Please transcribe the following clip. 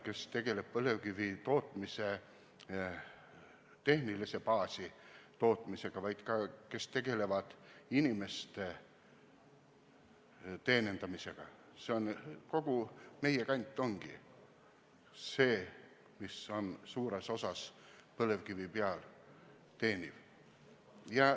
Kogu meie kant teenib suures osas põlevkivi pealt.